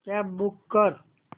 cab book कर